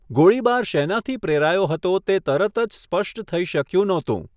ગોળીબાર શેનાથી પ્રેરાયો હતો તે તરત જ સ્પષ્ટ થઈ શક્યું નહોતું.